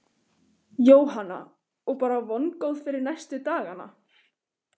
Jóhanna: Og bara vongóð fyrir næstu dagana?